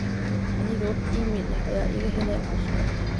aniga wax iimayl ah ayaa iga helay asha